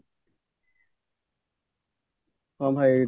ହଁ ଭାଇ